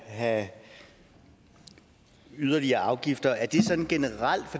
have yderligere afgifter er det sådan generelt